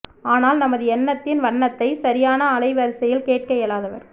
ஆனால் நமது எண்ணத்தின் வண்ணத்தைச் சரியான அலை வரிசையில் கேட்க இயலாதவர்